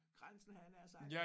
Grænsen havde jeg nær sagt